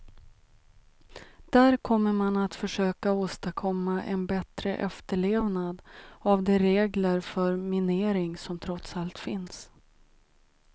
Där kommer man att försöka åstadkomma en bättre efterlevnad av de regler för minering som trots allt finns.